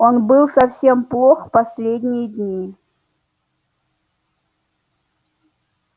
он был совсем плох последние дни